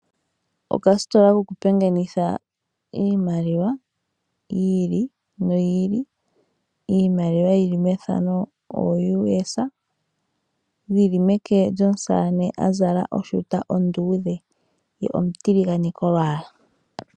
Okasitola koku pingalenitha iimaliwa yi ili noyi ili, Iimaliwa yili mefano o US dhili meke lyosaane azala oshuta onduudhe ye omutiligane kolwaala.